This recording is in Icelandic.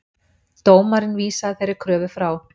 Dómarinn vísaði þeirri kröfu frá.